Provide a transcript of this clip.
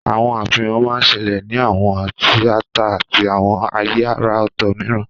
Àwọn àfihàn máa ń ṣẹlẹ̀ ní àwọn tíátà àti àwọn ààyè àrà ọ̀tọ̀ mìíràn.